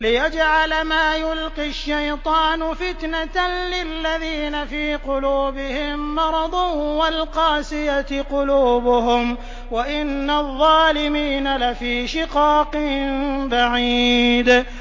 لِّيَجْعَلَ مَا يُلْقِي الشَّيْطَانُ فِتْنَةً لِّلَّذِينَ فِي قُلُوبِهِم مَّرَضٌ وَالْقَاسِيَةِ قُلُوبُهُمْ ۗ وَإِنَّ الظَّالِمِينَ لَفِي شِقَاقٍ بَعِيدٍ